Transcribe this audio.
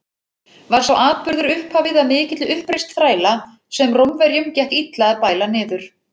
Var sá atburður upphafið að mikilli uppreisn þræla, sem Rómverjum gekk illa að bæla niður.